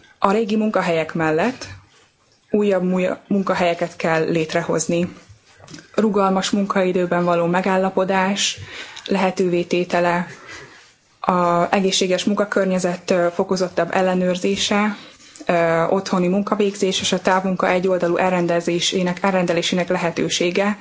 A régi munkahelyek mellett újabb munkahelyeket kell létrehozni, rugalmas munkaidőben való megállapodás lehetővé tétele, az egészséges munkakörnyezet fokozottabb ellenőrzése, otthoni munkavégzés és a távmunka egyoldalú elrendelésének lehetősége.